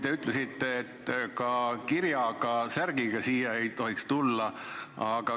Te ütlesite, et ka teatud kirjaga särgiga ei tohiks saali tulla.